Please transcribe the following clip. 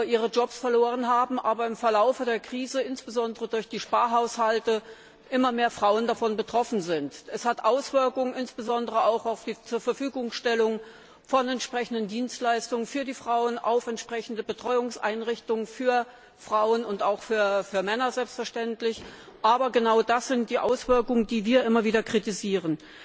ihre Jobs verloren haben, aber im Verlauf der Krise, insbesondere durch die Sparhaushalte, immer mehr Frauen davon betroffen sind. Es gibt Auswirkungen insbesondere auch auf die Zurverfügungstellung von entsprechenden Dienstleistungen für Frauen, auf entsprechende Betreuungseinrichtungen für Frauen und auch für Männer selbstverständlich und genau das sind die Auswirkungen, die wir immer wieder kritisieren.